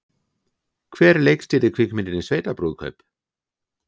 Hver leikstýrði kvikmyndinni Sveitabrúðkaup?